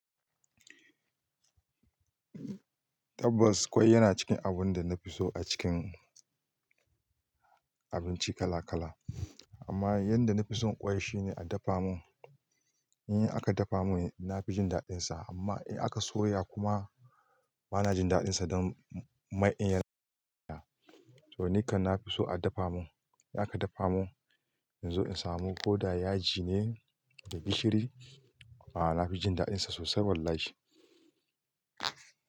Tabbas kwai yana cikin abun da na fi so a cikin abinci kala kala. Amma yadda na fi son kwai shine a dafa mun. In aka dafa mun, na fi jin daɗinsa amma in aka soya kuma bana jin daɗinsa don mai in ya soya. To ni kan na fi so a dafa mun. In aka dafa mun in zo in samu ko da yaji ne da gishiri a'a na fi jin daɗinsa sosai wallahi.